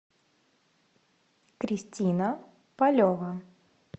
кристина полева